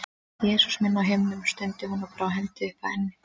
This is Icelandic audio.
Jesús minn á himnum, stundi hún og brá hendi upp að enni.